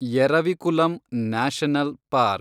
Eravikulam national park